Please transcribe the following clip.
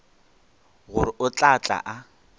gore o tla tla a